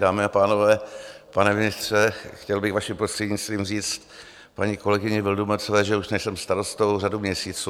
Dámy a pánové, pane ministře, chtěl bych vaším prostřednictvím říct paní kolegyni Vildumetzové, že už nejsem starostou řadu měsíců.